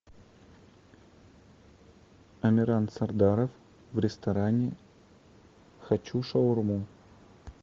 амиран сардаров в ресторане хачу шаурму